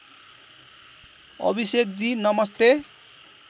अभिषेकजी नमस्ते